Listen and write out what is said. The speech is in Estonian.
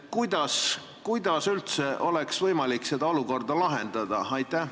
Kuidas üldse oleks võimalik seda olukorda lahendada?